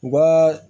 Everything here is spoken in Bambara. U ka